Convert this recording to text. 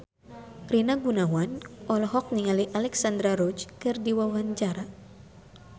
Rina Gunawan olohok ningali Alexandra Roach keur diwawancara